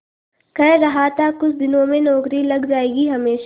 कह रहा था कुछ दिनों में नौकरी लग जाएगी हमेशा